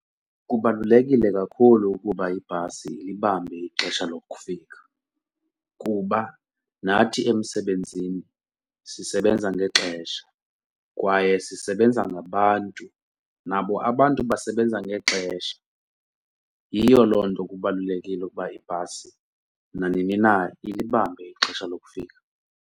Kubalulekile kakhulu ukuba ibhasi ilibambe ixesha lokufika kuba nathi emsebenzini sisebenza ngexesha kwaye sisebenza ngabantu nabo abantu basebenza ngexesha, yiyo loo nto kubalulekile ukuba ibhasi nanini na ilibambe ixesha lokufika.